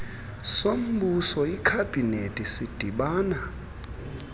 sombuso ikhabhinethi sidibana